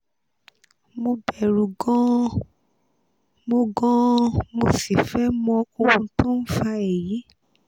mo bẹ̀rù gan-an mo gan-an mo sì fẹ́ mọ ohun tó ń fa èyí